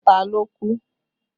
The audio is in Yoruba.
Ta ló kú?